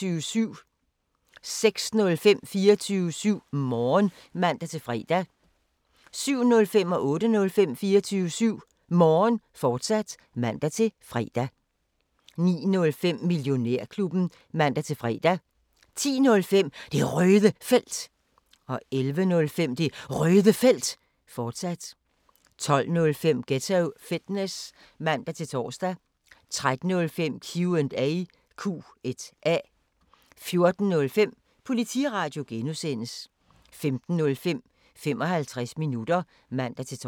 06:05: 24syv Morgen (man-fre) 07:05: 24syv Morgen, fortsat (man-fre) 08:05: 24syv Morgen, fortsat (man-fre) 09:05: Millionærklubben (man-fre) 10:05: Det Røde Felt 11:05: Det Røde Felt, fortsat 12:05: Ghetto Fitness (man-tor) 13:05: Q&A 14:05: Politiradio (G) 15:05: 55 minutter (man-tor)